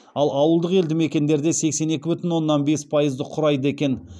ал ауылдық елдімекендерде сексен екі бүтін оннан бес пайызды құрайды екен